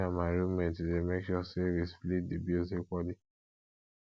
me and my room mate dey make sure sey we split di bills equally